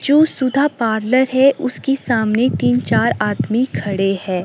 जो सुधा पार्लर है उसकी सामने तीन चार आदमी खड़े है।